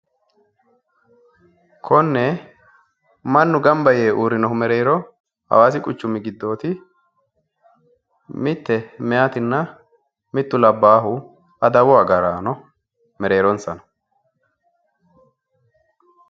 Konne mannu gamba yee uurrino mereero hawaasi quchumi giddooti mitte mayiitinna mittu labbaahu adawu agaraano mereeronsa no